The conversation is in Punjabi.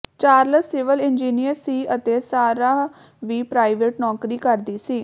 ਚਾਰਲਸ ਸਿਵਲ ਇੰਜੀਅਨਰ ਸੀ ਅਤੇ ਸਾਰਾਹ ਵੀ ਪ੍ਰਾਈਵੇਟ ਨੌਕਰੀ ਕਰਦੀ ਸੀ